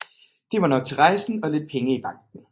Det var nok til rejsen og lidt penge i banken